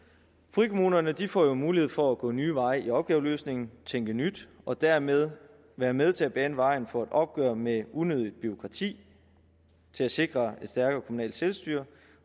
frikommunerne får jo mulighed for at gå nye veje i opgaveløsningen tænke nyt og dermed være med til at bane vejen for et opgør med unødigt bureaukrati sikre et stærkere kommunalt selvstyre